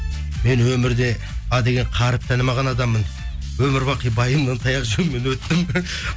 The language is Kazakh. мен өмірде а деген қаріпті танымған адаммын өмірбақи байымнан таяқ жеумен өттім